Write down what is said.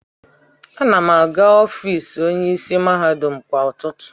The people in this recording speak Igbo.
Ana m aga n'ọfịs onyeisi mahadum kwa ụtụtụ.